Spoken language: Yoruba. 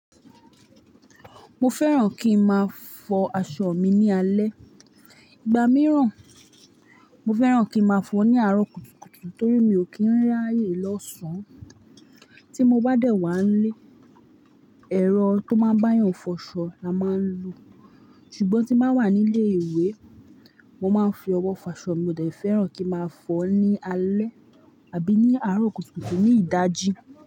Mo fẹ́ràn kí n máa fọ aṣọ mi ní alẹ́. Ìgbà mìíràn, mo fẹ́ràn kí n máa fọ ní àárọ̀ kùtùkùtù torí mi ò kí ń ráyè lọsan. Tí mo bá dẹ̀ wà nlé, ẹ̀rọ tó máa bá yàn fọṣọ la máa ń lò. Ṣùgbọ́n tí n baa wà nílé ìwé, mo máa ń fi ọwọ́ fọ aṣọ mi. Mo dẹ̀ fẹ́ràn kí n máa fọ ní alẹ́ àbí ní àárọ̀ kùtùkùtù ní ìdájí.